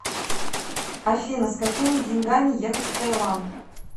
афина с какими деньгами ехать в таиланд